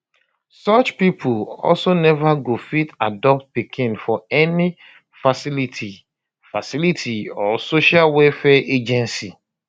such pipo also neva go fit adopt pikin for any facility facility or social welfare agency